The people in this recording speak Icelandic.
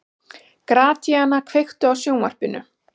Gratíana, kveiktu á sjónvarpinu.